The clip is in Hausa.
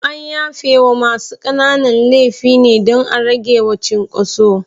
An yafe wa masu ƙanana laifi ne dan a ragewa cinkoso